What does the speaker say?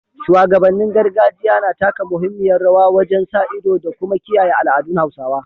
Shugabannin gargajiya na taka muhimmiyar rawa wajen sa ido da kuma kiyaye al’adun Hausawa